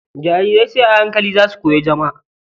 Jarirai sai a hankali za su koyi zama.